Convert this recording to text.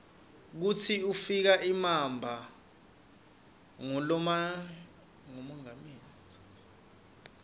kutsi ukif imaba nqumonqameli